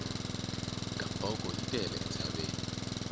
gamboko yi tele entshaveni